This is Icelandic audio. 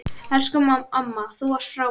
Elsku amma, þú varst frábær.